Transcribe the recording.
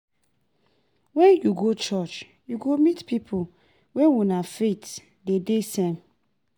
Wen yu go church yu go meet pipo wey una faith dey de same.